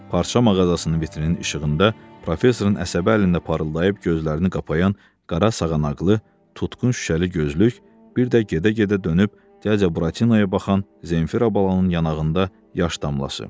Parça mağazasının vitrinin işığında professorun əsəbi əlində parıldayıb gözlərini qapayan qara sağanaqlı, tutqun şüşəli gözlük, bir də gedə-gedə dönüb cəburatinaya baxan Zenfira balanın yanağında yaş damlası.